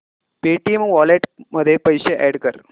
Paytm wallet मध्ये पैसे add कर